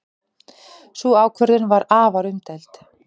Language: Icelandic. Sú ákvörðun var afar umdeild.